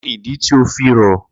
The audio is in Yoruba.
Kini idi ti o fi rọ?